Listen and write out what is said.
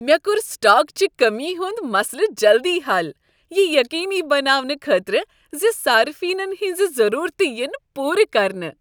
مےٚ کوٚر سٹاک چہ کٔمی ہنٛد مسلہٕ جلدی حل، یہ یقینی بناونہٕ خٲطرٕ ز صارفینن ہنٛزٕ ضروٗرتہٕ ین پورٕ کرنہٕ۔